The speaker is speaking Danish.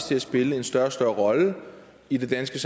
til at spille en større og større rolle i det danske